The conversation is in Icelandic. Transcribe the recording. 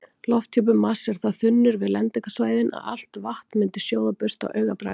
Lofthjúpur Mars er það þunnur við lendingarsvæðin að allt vatn myndi sjóða burt á augabragði.